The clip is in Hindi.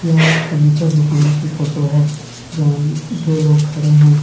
यह एक फर्नीचर दुकान कि फोटो है जहां दो लोग खड़े हैं।